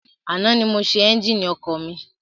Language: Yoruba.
Àná ni mo ṣe ẹ́njìnì ọ̀kadà mi.